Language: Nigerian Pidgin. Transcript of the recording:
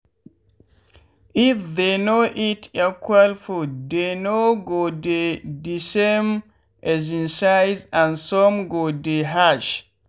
if they no eat equal fooddey no go dey d same um size and some go dey harsh